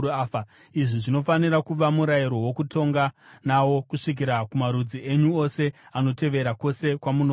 “ ‘Izvi zvinofanira kuva murayiro wokutonga nawo kusvikira kumarudzi enyu ose anotevera, kwose kwamunogara.